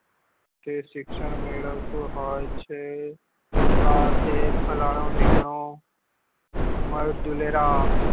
કે શિક્ષણ મેળવતું હોય છે અ તે ફલાણું ધીન્કનું